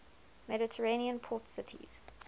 mediterranean port cities